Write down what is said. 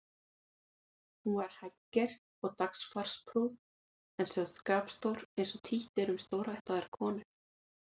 Hún var hægger og dagfarsprúð en sögð skapstór eins og títt er um stórættaðar konur.